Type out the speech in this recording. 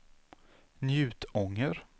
Njutånger